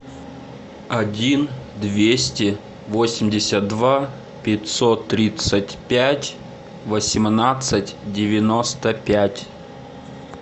один двести восемьдесят два пятьсот тридцать пять восемнадцать девяносто пять